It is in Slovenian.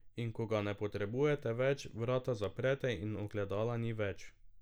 In ko ga ne potrebujete več, vrata zaprete in ogledala ni več.